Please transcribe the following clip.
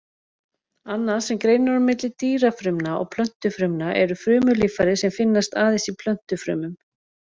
Annað sem greinir á milli dýrafrumna og plöntufrumna eru frumulíffæri sem finnast aðeins í plöntufrumum.